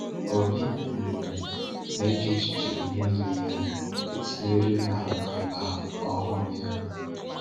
Obi um na echiche niile ya etinyere na ala ọhụrụ ya.